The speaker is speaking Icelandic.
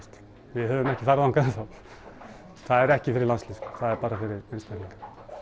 við höfum ekki farið þangað ennþá það er ekki fyrir landslið það er bara fyrir einstaklinga